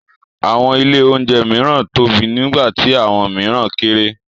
Àwọn ilé-oúnjẹ mìíràn tóbi nígbà tí àwọn mìíràn kéré.